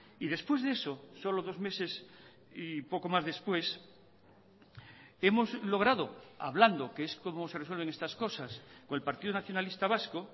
y después de eso solo dos meses y poco más después hemos logrado hablando que es como se resuelven estas cosas con el partido nacionalista vasco